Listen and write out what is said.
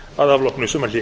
að afloknu sumarhléi